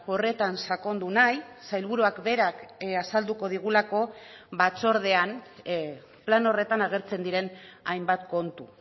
horretan sakondu nahi sailburuak berak azalduko digulako batzordean plan horretan agertzen diren hainbat kontu